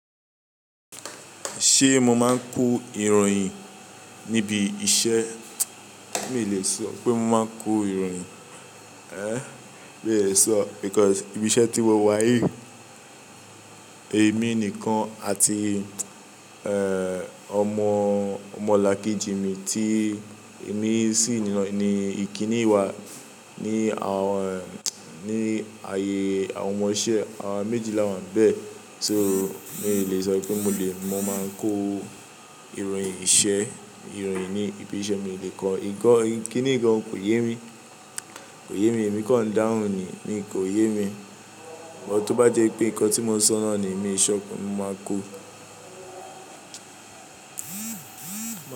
Ṣé mo máa ń ko ìròyìn níbi iṣẹ́? Mi ò lè sọ pé mo máa ń kó ìròyìn. Mi ò lè sọ. Nítorí ibi iṣẹ́ tí wo wáyìí, èmi nìkan àti, ọmọ ọmọlàkejì mi tí èmi sì ni ìkíni wa ní àwọn, ní ààyè àwọn ọmọ iṣẹ́. Àwa méjìlá wà nbẹ́ẹ̀. So mi ò lè sọ pé mo lè, mo máa ń kó ìròyìn iṣẹ́, ìròyìn ní ibi iṣẹ́ mi ò lè kọ́. Kíniyi gàn kò yé mi, kò yé mi. Èmi kọ̀ dáhùn ni, mi kò yé mi. Ìwọ tó bá jẹ́ pé nǹkan tí mo sọ náà ni èmi ṣọ, mo máa kó.